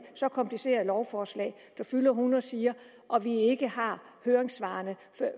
så kompliceret lovforslag der fylder hundrede sider når vi ikke har høringssvarene